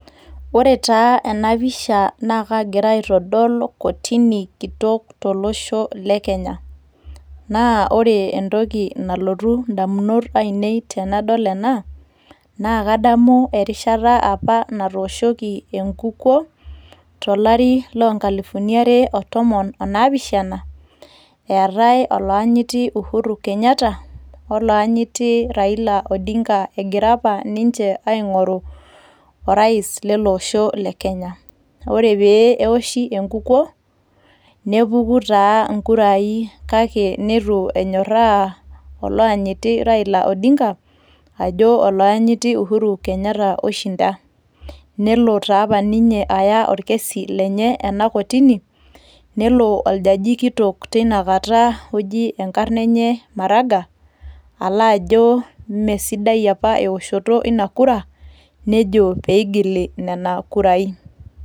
Ore taa ena pisha naa kaagira aitodol kotini kitok tolosho le kenya naa ore entoki nalotu indamunot ainei tenadol ena naa kadamu erishata apa natooshoki enkukuo tolari loo nkalifuni are o tomon o naapishana eetay oloyanyiti Uhuru kenyatta o loyanyiti Raila odinga egira apa ninche aing'oru orais lele osho le kenya ore pee ewoshi enkukuo nepuku taa inkurai kake nitu enyorra oloyanyiti Raila odingaa ajo oloyanyiti Uhuru kenyatta oishinda nelo taapa ninye aya orkesi lenye ena kotini nelo oljaji kitok tinakata oji maraga ajo imesidai apa eoshoto ina kura nejo peigili nena kurai.